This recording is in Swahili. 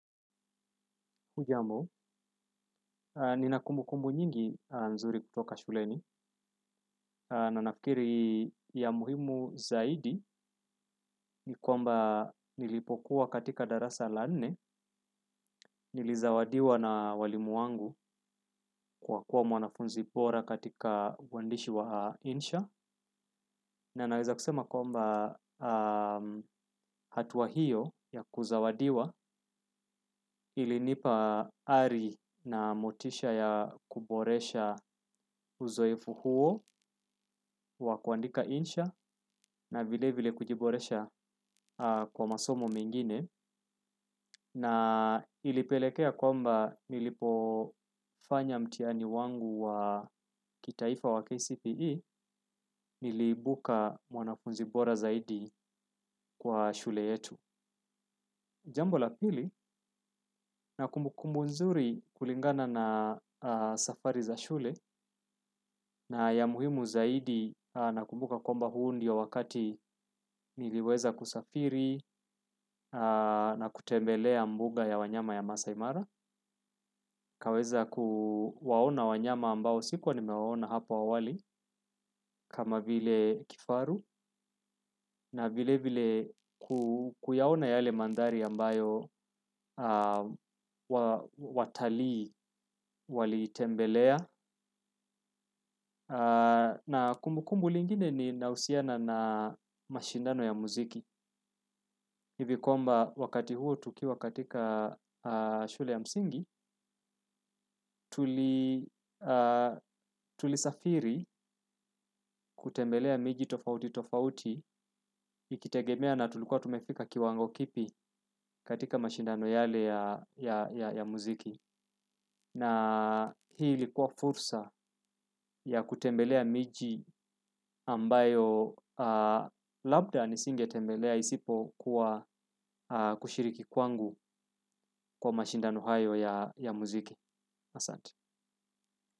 Hujambo, nina kumbukumbu nyingi nzuri kutoka shuleni. Na ninafikiri ya muhimu zaidi, ni kwamba nilipokuwa katika darasa la nne, nilizawadiwa na walimu wangu kwa kuwa mwanafunzi bora katika uandishi wa insha. Na naweza kusema kwamba hatua hiyo ya kuzawadiwa ilinipa ari na motisha ya kuboresha uzoefu huo wa kuandika insha na vile vile kujiboresha kwa masomo mengine. Na ilipelekea kwamba nilipofanya mtihani wangu wa kitaifa wa KCPE niliibuka mwanafunzi bora zaidi kwa shule yetu. Jambo la pili nina kumbukumbu nzuri kulingana na safari za shule na ya muhimu zaidi nakumbuka komba huo ndio wakati niliweza kusafiri na kutembelea mbuga ya wanyama ya maasai mara. Nikaweza kuwaona wanyama ambao sikuwa nimewaona hapa awali kama vile kifaru na vile vile kuyaona yale mandhari ambayo watalii waliitembelea na kumbukumbu lingine linahusiana na mashindano ya muziki. Hivi kwamba wakati huo tukiwa katika shule ya msingi, tulisafiri kutembelea miji tofauti tofauti ikitegemea na tulikuwa tumefika kiwango kipi katika mashindano yale ya muziki. Na hii ilikuwa fursa ya kutembelea miji ambayo labda nisingetembelea isipokuwa kushiriki kwangu kwa mashindano hayo ya muziki. Asante.